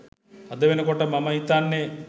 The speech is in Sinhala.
අද වෙනකොට මම හිතන්නේ